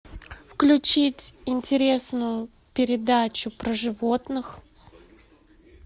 включить интересную передачу про животных